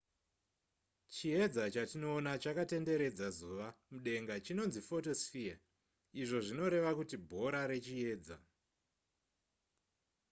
chiedza chatinoona chakatenderedza zuva mudenga chinonzi photosphere izvo zvinoreva kuti bhora rechiedza